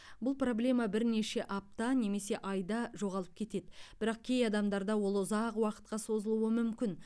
бұл проблема бірнеше апта немесе айда жоғалып кетеді бірақ кей адамдарда ол ұзақ уақытқа созылуы мүмкін